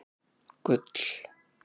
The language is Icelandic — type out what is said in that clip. Gull